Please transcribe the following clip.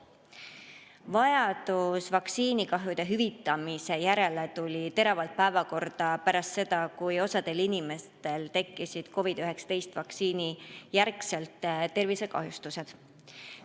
Vajadus vaktsiinikahjude hüvitamise järele tuli teravalt päevakorda pärast seda, kui osal inimestel tekkisid COVID-19 vaktsiini järel tervisekahjustused.